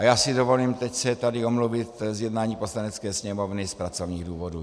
A já si dovolím teď se tady omluvit z jednání Poslanecké sněmovny z pracovních důvodů.